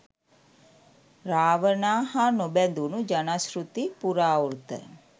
රාවණා හා නොබැදුණු ජනශ්‍රැති, පුරාවෘත්ත